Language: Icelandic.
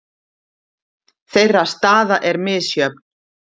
Þeirra staða er misjöfn.